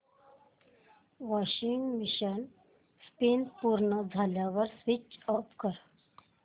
washing machine spin पूर्ण झाल्यावर switch off कर